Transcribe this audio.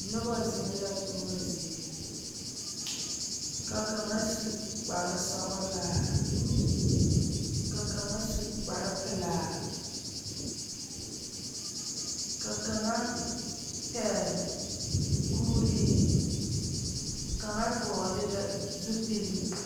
Noba zeŋ la tuma zie ka kaŋa su kpare sɔglaa ka kaŋa su kpare pelaa ka kaŋa pegle kure kaŋa vɔgle la zupele.